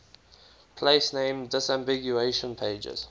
place name disambiguation pages